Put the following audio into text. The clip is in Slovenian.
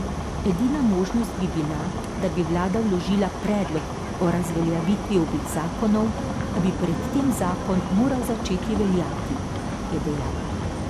Edina možnost bi bila, da bi vlada vložila predlog o razveljavitvi obeh zakonov, a bi pred tem zakon moral začeti veljati, je dejal.